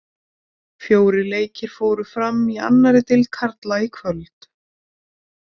Fjórir leikir fóru fram í annari deild karla í kvöld.